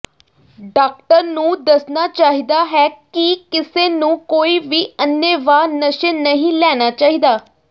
doctor ਨੂੰ ਦੱਸਣਾ ਚਾਹੀਦਾ ਹੈ ਕਿ ਕਿਸੇ ਨੂੰ ਕੋਈ ਵੀ ਅੰਨ੍ਹੇਵਾਹ ਨਸ਼ੇ ਨਹੀਂ ਲੈਣਾ ਚਾਹੀਦਾ